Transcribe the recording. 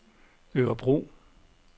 Örebro